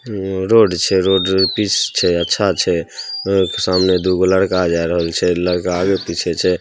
ये रोड छै road pitch छै अच्छा छै सामने दूगो लड़का आ जा रहल छै लड़का आगे पीछे छै।